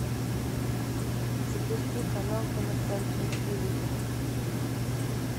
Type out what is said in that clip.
запусти канал тв центр на телевизоре